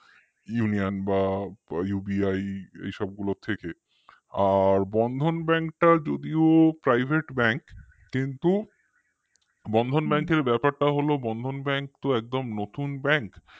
union বা UBI এই সবগুলোর থেকে আর Bandhan Bank টা যদিও private bank কিন্তু bandhan bank র ব্যাপারটা হলো bandhan bank একদম নতুন bank